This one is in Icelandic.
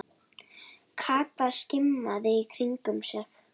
Kata skimaði í kringum sig.